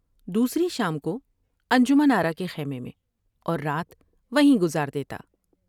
دوسری شام کو انجمن آرا کے خیمے میں اور رات وہیں گزار دیتا ۔